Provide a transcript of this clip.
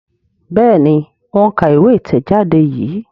Béèni o ń ká ìwé itẹjade yí.